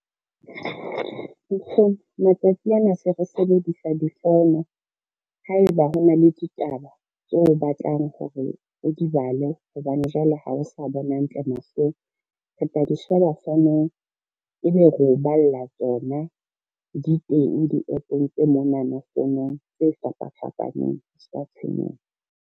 Nkgono matsatsi ana se re sebedisa difono ha eba hona le ditaba tseo o batlang hore o di bale hobane jwale ha o sa bona hantle mahlong, re tla di sheba fonong ebe re o balla tsona di teng di-App-ong tse monana fonong tse fapafapaneng ska tshwenyeha.